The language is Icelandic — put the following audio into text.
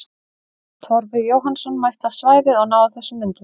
Torfi Jóhannsson mætti á svæðið og náði þessum myndum.